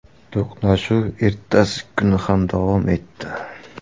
To‘qnashuv ertasi kuni ham davom etdi.